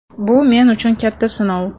Bu men uchun katta sinov.